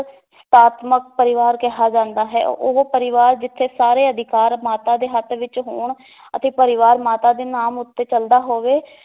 ਪਰਿਵਾਰ ਕਿਹਾ ਜਾਂਦਾ ਹੈ ਉਹ ਪਰਿਵਾਰ ਜਿੱਥੇ ਸਾਰੇ ਅਧਿਕਾਰ ਮਾਤਾ ਦੇ ਹੱਥ ਵਿਚ ਹੋਣ ਅਤੇ ਪਰਿਵਾਰ ਮਾਤਾ ਦੇ ਨਾਮ ਉੱਤੇ ਚਲਦਾ ਹੋਵੇ